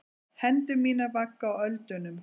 Hendur mínar vagga á öldunum.